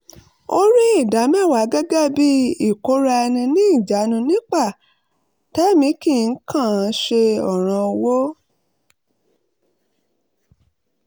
ó rí ìdámẹ́wàá gẹ́gẹ́ bì i ìkóra ẹni níjanu nípa tẹ̀mí kì í kàn án ṣe ọ̀ràn owó